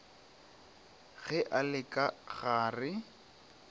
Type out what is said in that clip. ge a le ka ga